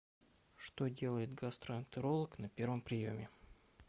что делает гастроэнтеролог на первом приеме